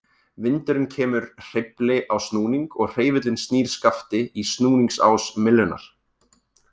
Vindurinn kemur hreyfli á snúning og hreyfillinn snýr skafti í snúningsás myllunnar.